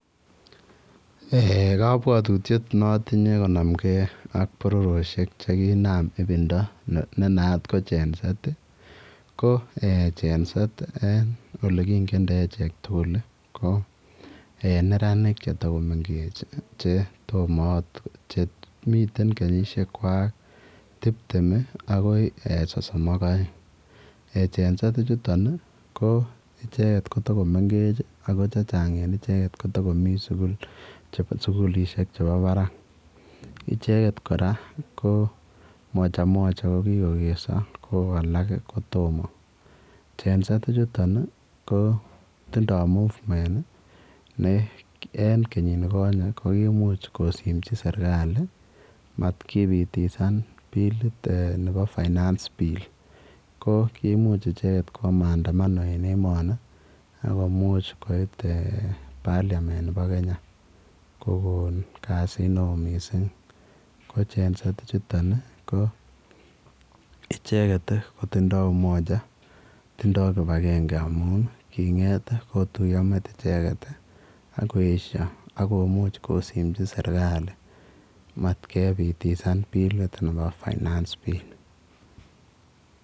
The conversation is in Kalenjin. Eeh kabwatutiet neatunye konamge ak boriosiek chekinam ibinda nenaat ko GEN-Z',ko ee GEN-Z' elen olekingende achek tugul koneranik chetokomengechen che tomoot miten kenyisiekwak tiptem ii akoi sosom ak aeng, ee GEN-Z' ichuton koo icheket kotokomengech ako chechang icheket kotokomii sikuliseik chepo parak ,icheket kora ko mojamoja kokikokeso ko alak komoo, GEN-Z' ichuton koo tindoo movement ne en kenyikonye kokimuch kosimchi serikali matkipitisan bill nepo finance bill ko kimuch icheket kipaa mandamano en emoni akomuch koit eeh parliament nepo kenya kokon kasit neo missing ko GEN-Z' ichuton icheket kotindoo umoja tindoo kipakenge amun king'et kotuiyo met icheket ii akoesio akomuch kosimchi serikali mat kepitisan bilit nepo finance bill.